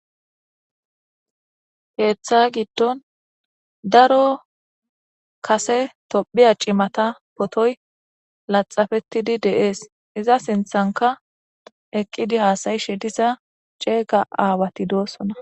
heeththa giddon daro kase tophiya cimata potoy laxafetidi deees iza sinthanka eqqidi haasayishe disa ceega aawati doosona